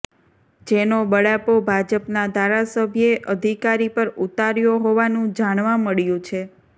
જેનો બળાપો ભાજપના ધારાસભ્યે અધિકારી પર ઉતાર્યો હોવાનું જાણવા મળ્યુ છે